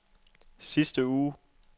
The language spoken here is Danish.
sidste uge